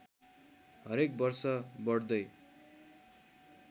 हरेक वर्ष बढ्दै